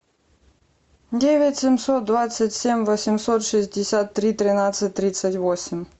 девять семьсот двадцать семь восемьсот шестьдесят три тринадцать тридцать восемь